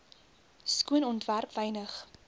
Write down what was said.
skoon ontwerp wynig